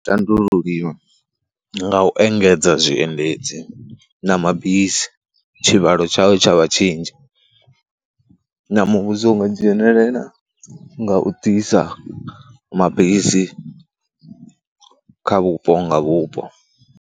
Tandululiwa nga u engedza zwiendedzi na mabisi, tshivhalo tshao tsha vha tshinzhi na muvhuso u nga dzhenelela nga u ḓisa mabisi kha vhupo nga vhupo.